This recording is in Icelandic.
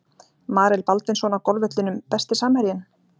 Marel Baldvinsson á golfvellinum Besti samherjinn?